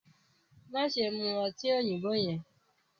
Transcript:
maṣe mú ọtí òyìnbó yẹn!